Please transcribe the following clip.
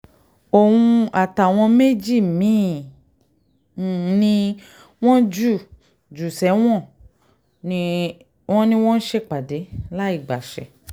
òun àtàwọn méjì mí-ín ni wọ́n jù um sẹ́wọ̀n wọn ni wọ́n ń ṣèpàdé láì um gbàṣẹ